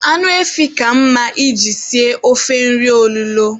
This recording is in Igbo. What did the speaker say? Anụ efi ka mma I ji sie ofe nri olulo.